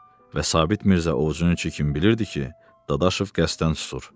Və Sabit Mirzə ovcunun içinə kimi bilirdi ki, Dadaşov qəsdən susur.